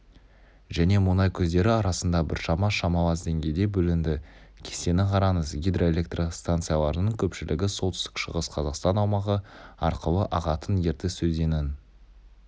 және мұнай көздері арасында біршама шамалас деңгейде бөлінді кестені қараңыз гидроэлектрстанцияларының көпшілігі солтүстік-шығыс қазақстан аумағы арқылы ағатын ертіс өзенінің